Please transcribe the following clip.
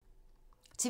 TV 2